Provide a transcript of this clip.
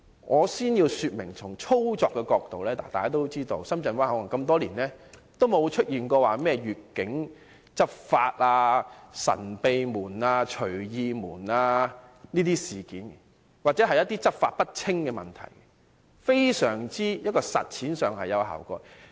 我先要說明，從操作的角度來看，大家也知道，深圳灣口岸多年來也不曾出現越境執法、"神秘門"、"隨意門"等事件，又或是執法不清等問題，實踐上非常有效果。